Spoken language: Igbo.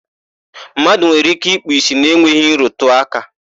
Mmadụ nwere ike ikpu ìsì na-enweghị nrụtụaka.